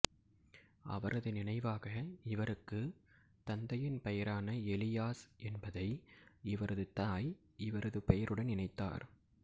அவரது நினைவாக இவருக்கு தந்தையின் பெயரான எலியாஸ் என்பதை இவரது தாய் இவரது பெயருடன் இணைத்தார்